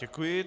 Děkuji.